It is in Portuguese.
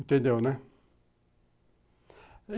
Entendeu, né?